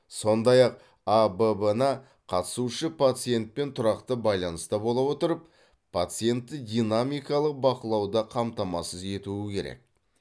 сондай ақ абб на қатысушы пациентпен тұрақты байланыста бола отырып пациентті динамикалық бақылауды қамтамасыз етуі керек